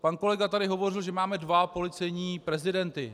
Pan kolega tady hovořil, že máme dva policejní prezidenty.